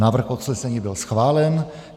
Návrh usnesení byl schválen.